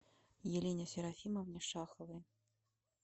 елене серафимовне шаховой